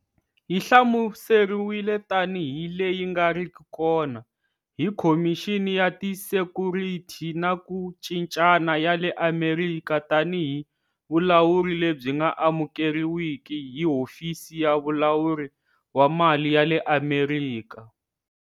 Yi hlamuseriwile tanihi"leyi nga riki kona" hi Khomixini ya Tisekhurithi na ku Cincana ya le Amerika na tanihi"vulawuri lebyi nga amukeriwiki" hi Hofisi ya Vulawuri wa Mali ya le Amerika.